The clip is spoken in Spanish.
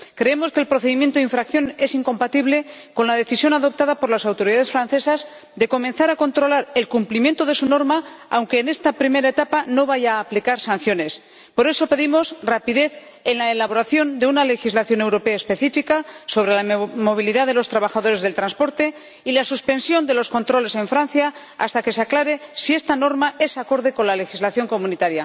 Creemos que el procedimiento de infracción es incompatible con la decisión adoptada por las autoridades francesas de comenzar a controlar el cumplimiento de su norma, aunque en esta primera etapa no vaya a aplicar sanciones. Por eso, pedimos rapidez en la elaboración de una legislación europea específica sobre la movilidad de los trabajadores del transporte y la suspensión de los controles en Francia hasta que se aclare si esta norma es acorde con la legislación de la Unión.